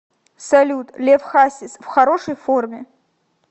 салют лев хасис в хорошей форме